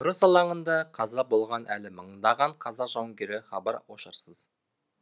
ұрыс алаңында қаза болған әлі мыңдаған қазақ жауынгері хабар ошарсыз